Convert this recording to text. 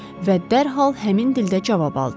Və dərhal həmin dildə cavab aldı.